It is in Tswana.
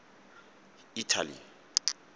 italy